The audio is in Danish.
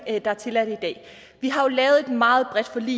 der er tilladt i dag vi har jo lavet et meget bredt forlig